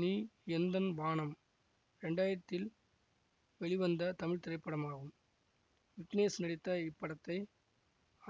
நீ எந்தன் வானம் ரெண்டாயிரத்தில் வெளிவந்த தமிழ் திரைப்படமாகும் விக்னேஷ் நடித்த இப்படத்தை